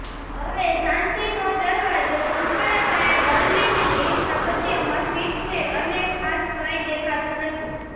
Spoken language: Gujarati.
હવે શાંતિનો દરવાજો સંપૂર્ણપણે બર્લિનની સ્થાપત્યમાં ફિટ છે અને ખાસ કંઈ દેખાતું નથી